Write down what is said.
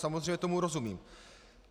Samozřejmě, tomu rozumím.